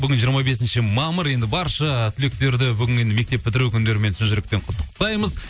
бүгін жиырма бесінші мамыр енді барша түлектерді бүгін енді мектеп бітіру күндерімен шын жүректен құттықтаймыз